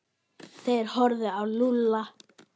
Þeir horfðu á Lúlla.